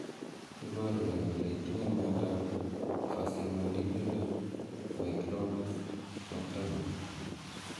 Iporu ne kole itinye miondap Faciomandibular myoclonus, nocturnal?